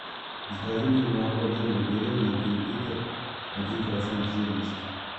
закажи мне молоко домик в деревне один литр один процент жирности